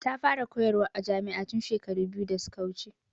Ta fara koyar wa a jami'a tun shekaru biyu da suka wuce.